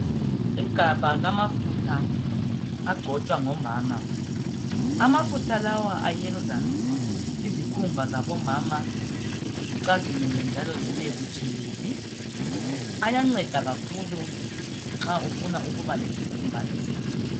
Igabha lamafutha agcotshwa ngomama. Amafutha lawa ayenza izikhumba zabomama zicazimule njalo zibebutshelezi. Ayanceda kakhulu nxa ufuna ukuba lesikhumba esihle.